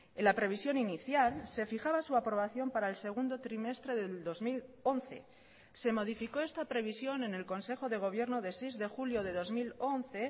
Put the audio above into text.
en la previsión inicial se fijaba su aprobación para el segundo trimestre del dos mil once se modificó esta previsión en el consejo de gobierno de seis de julio de dos mil once